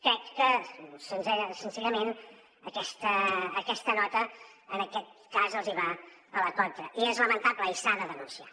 crec que senzillament aquesta nota en aquest cas els hi va a la contra i és lamentable i s’ha de denunciar